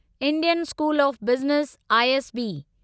Indian school of business ISB